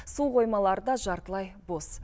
су қоймалары да жартылай бос